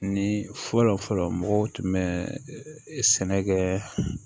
Ni fɔlɔ fɔlɔ fɔlɔ mɔgɔw tun bɛ sɛnɛ kɛ